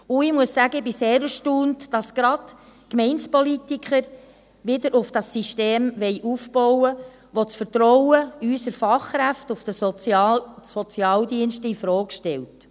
Und ich muss sagen, ich bin sehr erstaunt, dass gerade Gemeindepolitiker wieder auf dieses System aufbauen wollen, welches das Vertrauen in unsere Fachkräfte in den Sozialdiensten infrage stellt.